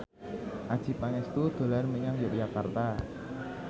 Adjie Pangestu dolan menyang Yogyakarta